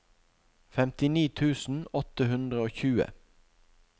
femtini tusen åtte hundre og tjue